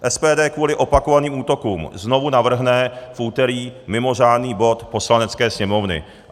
SPD kvůli opakovaným útokům znovu navrhne v úterý mimořádný bod Poslanecké sněmovny.